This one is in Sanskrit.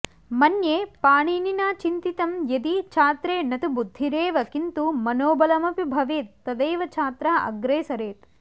मन्ये पणिनिना चिन्तितं यदि छात्रे न तु बुद्धिरेव किन्तु मनोबलमपि भवेत् तदैव छात्रः अग्रे सरेत्